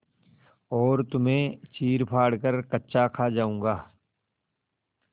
और तुम्हें चीरफाड़ कर कच्चा खा जाऊँगा